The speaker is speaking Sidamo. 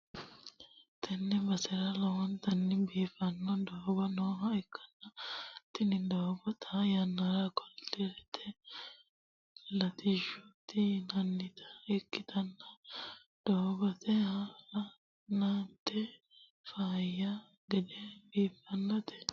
Tenne basera lowontanni biiffanno doogo nooha ikkanna, tini doogono xaa yannara koliderete latishshaati yinannita ikkitanna, doogono hala'lite faayya gede biiffinote.